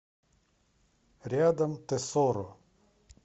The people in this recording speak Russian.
рядом тесоро